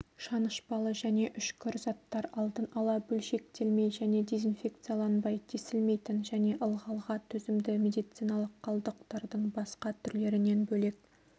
шанышпалы және үшкір заттар алдын ала бөлшектелмей және дезинфекцияланбай тесілмейтін және ылғалға төзімді медициналық қалдықтардың басқа түрлерінен бөлек